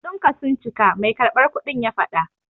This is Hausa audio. Kudinka sun cika, mai karɓar kudin ya faɗa.